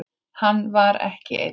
Hann var ekki einn.